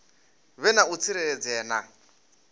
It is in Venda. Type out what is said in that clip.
vhe na u tsireledzea na